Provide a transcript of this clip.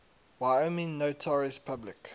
wyoming notaries public